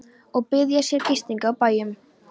Og biðja sér gistingar á bæjum.